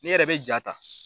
Ne yɛrɛ bɛ jaa ta.